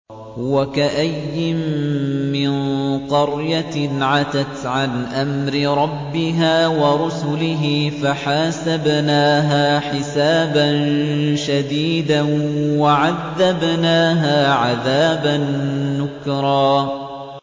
وَكَأَيِّن مِّن قَرْيَةٍ عَتَتْ عَنْ أَمْرِ رَبِّهَا وَرُسُلِهِ فَحَاسَبْنَاهَا حِسَابًا شَدِيدًا وَعَذَّبْنَاهَا عَذَابًا نُّكْرًا